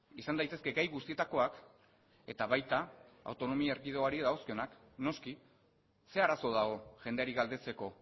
izan daitezke gai guztietakoak eta baita autonomia erkidegoari dagozkionak noski zer arazo dago jendeari galdetzeko